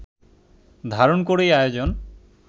ধারণ করেই আয়োজন